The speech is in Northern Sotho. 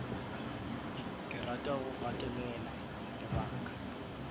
ke rata go gatelela lebaka